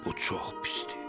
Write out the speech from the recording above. Bu çox pisdir.